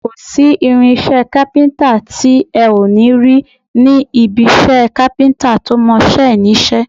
Kò sí irinṣẹ́ kápíntà tí ẹ ò ní rí ní ibi iṣẹ́ kápíntà tó mọ iṣẹ́ ẹ̀ níṣẹ́